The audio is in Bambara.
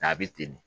N'a bɛ ten de